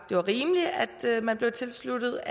det var rimeligt at man blev tilsluttet